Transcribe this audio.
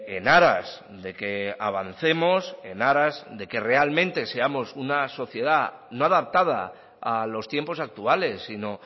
en aras de que avancemos en aras de que realmente seamos una sociedad no adaptada a los tiempos actuales sino